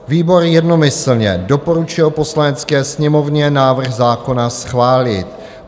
Výbor jednomyslně doporučuje Poslanecké sněmovně návrh zákona schválit.